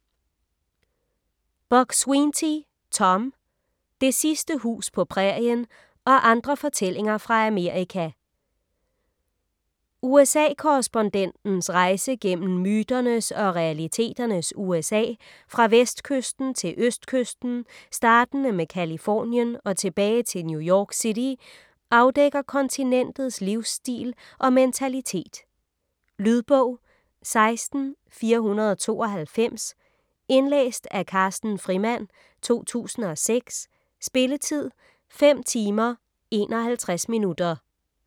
Buk-Swienty, Tom: Det sidste hus på prærien: og andre fortællinger fra Amerika USA-korrespondentens rejse gennem myternes og realiteternes USA, fra vestkysten til østkysten startende med Californien og tilbage til New York City, afdækker kontinentets livsstil og mentalitet. Lydbog 16492 Indlæst af Carsten Frimand, 2006. Spilletid: 5 timer, 51 minutter.